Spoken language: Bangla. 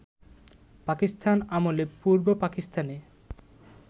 পাকিস্তান আমলে পূর্ব পাকিস্তানে